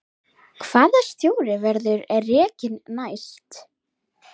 Hvaða stjóri verður rekinn næst?